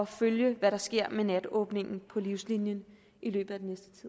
følge hvad der sker med natåbent på livslinien i løbet